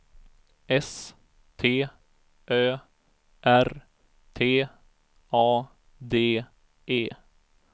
S T Ö R T A D E